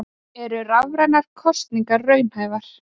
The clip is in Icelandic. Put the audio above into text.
Eru rafrænar kosningar raunhæfar?